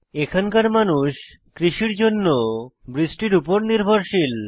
এখানকার মানুষ কৃষির জন্য বৃষ্টির উপর নির্ভরশীল